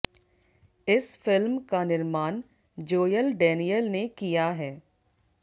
इस फिल्म का निर्माण जोयल डेनियल ने किया है